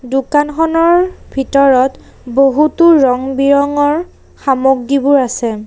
দোকানখনৰ ভিতৰত বহুতো ৰং বিৰঙৰ সামগ্ৰীবোৰ আছে।